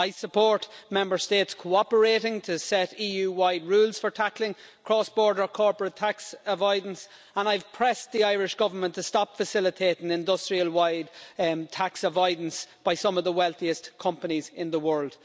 I support Member States cooperating to set EU wide rules for tackling cross border corporate tax avoidance and I've pressed the Irish Government to stop facilitating industrial scale tax avoidance by some of the wealthiest companies in the world.